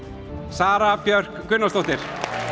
Sara Björk Gunnarsdóttir